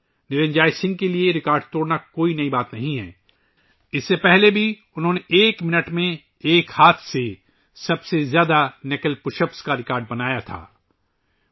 نرنجوئے سنگھ کے لئے ریکارڈ توڑنا کوئی نئی بات نہیں، جو اس سے پہلے ایک منٹ میں ایک ہاتھ سے سب سے زیادہ نکل پش اپس کا ریکارڈ اپنے نام کر چکے ہیں